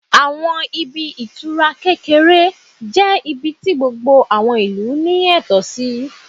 Àwọn ibi ìtura kékeré jẹ́ ibi tí gbogbo àwọn ìlú ní ẹ̀tọ́ sí